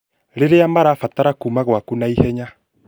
rĩrĩa marabatara kuuma ngwaku na ihenya